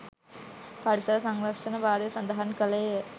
පරිසර සංරක්ෂණ භාරය සඳහන් කළේය.